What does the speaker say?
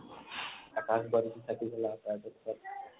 আকাশ বান্তি চালি জলাও তাৰ পিছত